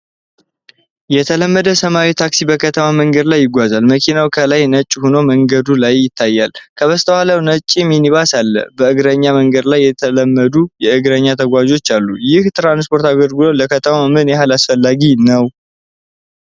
የተለመደ ሰማያዊ ታክሲ በከተማ መንገድ ላይ ይጓዛል። መኪናው ከላይ ነጭ ሆኖ በመንገዱ ላይ ይታያል፣ ከበስተኋላ ነጭ ሚኒባስ አለ። በእግረኛ መንገድ ላይ የተለመዱ የእግር ተጓዦች አሉ። ይህ የትራንስፖርት አገልግሎት ለከተማው ምን ያህል አስፈላጊ ነው?